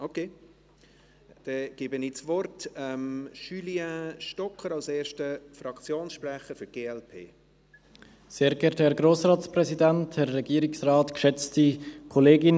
Dann gebe ich das Wort als erstem Fraktionssprecher Julien Stocker für die glp.